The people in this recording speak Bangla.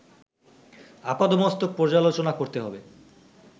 আপাদমস্তক পর্যালোচনা করতে হবে